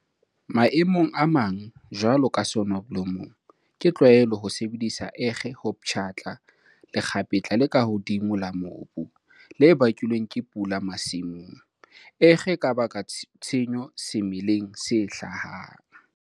Maemong a mang, jwalo ka soneblomong, ke tlwaelo ho sebedisa ekge ho pshatla lekgapetla le ka hodimo la mobu, le bakilweng ke pula masimong. Ekge e ka baka tshenyo semeleng se hlahang.